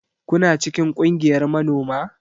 Kuna cikin kungiyar manoma?